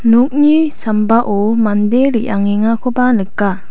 nokni sambao mande re·angengakoba nika.